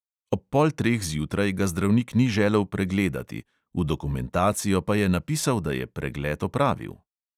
Ob pol treh zjutraj ga zdravnik ni želel pregledati, v dokumentacijo pa je napisal, da je pregled opravil.